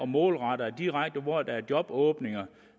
målrettes direkte hvor der er jobåbninger